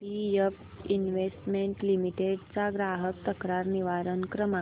BF investment limited चा ग्राहक तक्रार निवारण क्रमांक